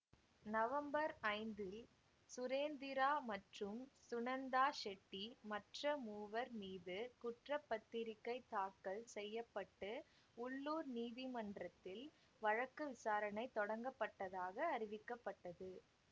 November ஐந்தில் சுரேந்திரா மற்றும் சுனந்தா ஷெட்டி மற்ற மூவர் மீது குற்ற பத்திரிகை தாக்கல் செய்ய பட்டு உள்ளூர் நீதிமன்றத்தில் வழக்கு விசாரணை தொடங்கப்பட்டதாக அறிவிக்கப்பட்டது